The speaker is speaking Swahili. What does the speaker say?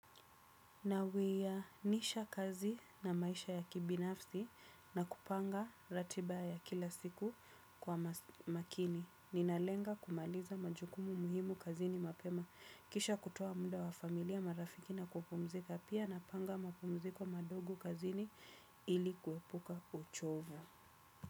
Nawianisha kazi na maisha ya kibinafsi na kupanga ratiba ya kila siku kwa makini. Ninalenga kumaliza majukumu muhimu kazini mapema. Kisha kutoa muda wa familia marafiki na kupumzika pia napanga mapumziko madogo kazini ili kuepuka uchovu.